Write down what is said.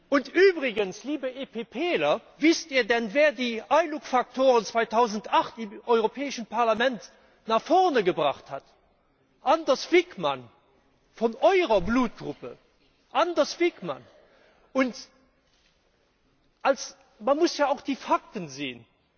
Und übrigens, liebe EPPler, wisst ihr denn, wer die ILUC Faktoren 2008 im Europäischen Parlament nach vorne gebracht hat? Anders Wijkman von eurer Blutgruppe Anders Wijkman! Und man muss ja auch die Fakten sehen.